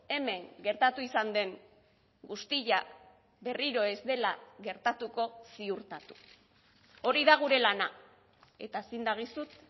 hemen gertatu izan den guztia berriro ez dela gertatuko ziurtatu hori da gure lana eta zin dagizut